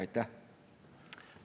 Aitäh!